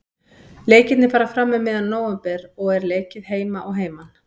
Leikirnir fara fram um miðjan nóvember og er leikið heima og heiman.